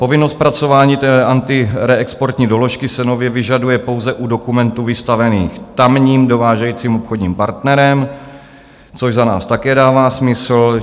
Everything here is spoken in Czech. Povinnost zpracování té antireexportní doložky se nově vyžaduje pouze u dokumentů vystavených tamním dovážejícím obchodním partnerem, což za nás také dává smysl.